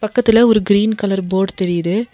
பக்கத்துல ஒரு green colour fort தெரியுது.